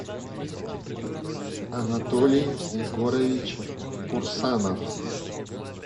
анатолий егорович курсанов